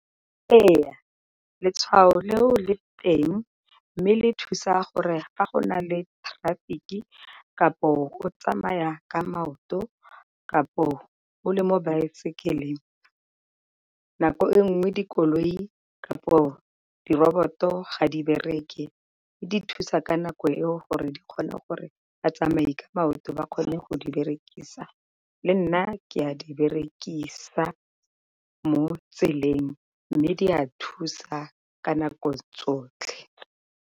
Ee letshwao leo le teng mme le thusa gore fa go na le traffic-ki, kapo o tsamaya ka maoto, kampo o le mo baesekeleng, nako e nngwe dikoloi kampo di roboto ga di bereke le di thusa ka nako eo gore di kgone gore a tsamai ka maoto ba kgona go di berekisa. Le nna ke a di berekisa mo tseleng, mme di a thusa ka nako tsotlhe.